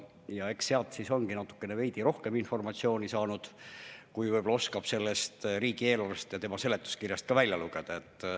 Ja eks sealt siis ongi veidi rohkem informatsiooni saadud, kui oskab sellest riigieelarve ja seletuskirjast välja lugeda.